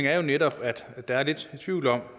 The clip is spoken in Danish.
er jo netop at der er lidt tvivl om